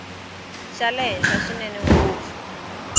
xa le henhla swinene ngopfu